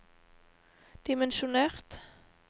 dimensjonert